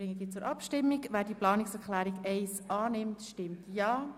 Wer die Planungserklärung 1 annimmt, stimmt Ja,